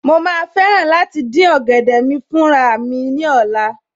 Mo ma fẹ́ràn láti dín ọ̀gẹ̀dẹ̀ mi fún raramí ní ọ̀la